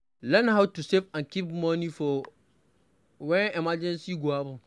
Learn how to save and keep money for when emergency go happen